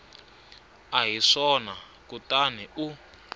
a hi swona kutani u